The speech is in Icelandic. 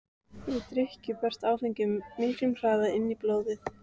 Við drykkju berst áfengi miklu hraðar inn í blóðið.